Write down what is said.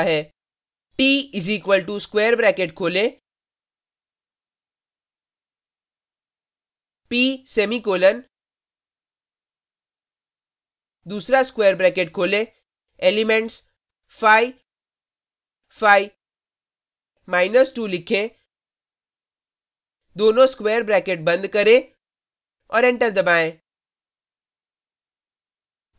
t = square bracket खोलें p semicolon दूसरा square bracket खोलें एलिमेंट्स 5 5 2 लिखें दोनों स्क्वेर ब्रैकेट बंद करें और एंटर दबाएँ